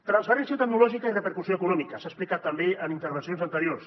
transferència tecnològica i repercussió econòmica s’ha explicat també en intervencions anteriors